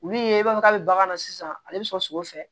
Olu ye e b'a fɔ k'a bɛ bagan na sisan ale bi sɔn o fɛ